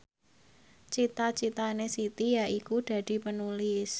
cita citane Siti yaiku dadi Penulis